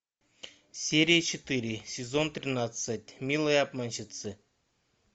серия четыре сезон тринадцать милые обманщицы